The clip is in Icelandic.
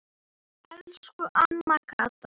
Elsku amma Kata.